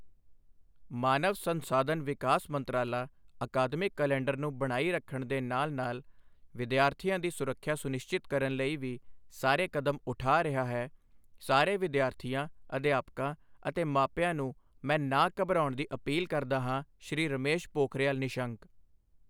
ਮਾਨਵ ਸੰਸਾਧਨ ਵਿਕਾਸ ਮੰਤਰਾਲਾ ਅਕਾਦਮਿਕ ਕੈਲੰਡਰ ਨੂੰ ਬਣਾਈ ਰੱਖਣ ਦੇ ਨਾਲ ਨਾਲ ਵਿਦਿਆਰਥੀਆਂ ਦੀ ਸੁਰੱਖਿਆ ਸੁਨਿਸ਼ਚਿਤ ਕਰਨ ਲਈ ਵੀ ਸਾਰੇ ਕਦਮ ਉਠਾ ਰਿਹਾ ਹੈ ਸਾਰੇ ਵਿਦਿਆਰਥੀਆਂ, ਅਧਿਆਪਕਾਂ ਅਤੇ ਮਾਪਿਆਂ ਨੂੰ ਮੈਂ ਨਾ ਘਬਰਾਉਣ ਦੀ ਅਪੀਲ ਕਰਦਾ ਹਾਂ ਸ਼੍ਰੀ ਰਮੇਸ਼ ਪੋਖਰਿਯਾਲ ਨਿਸ਼ੰਕ।